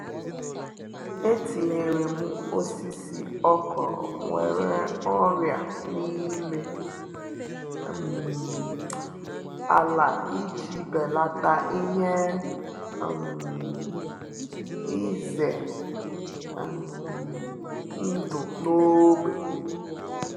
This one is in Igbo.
Etinyerem osisi okro nwere ọrịa na-ime um ala iji belata ihe um ize um ndụ na-ógbè